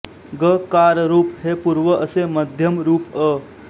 ग कार रूप हे पूर्व असे मध्यम रूप अ